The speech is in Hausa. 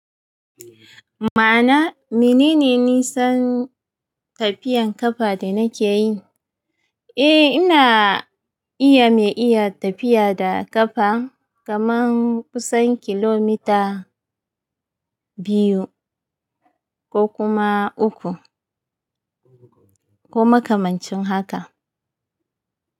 Ma'ana menene nisan tafiyan ƙafa da na ke yi? Eh ina iya mai iya tafiya da ƙafa kaman kusan kilomita biyu ko kuma uku ko makamancin haka.